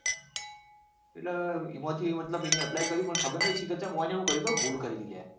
એટલે એમાં થી એને મતલબ apply કર્યું પણ ખબર ની સી ખબર શું કર્યું ખબર એમને ભૂલ કરી લ્યા.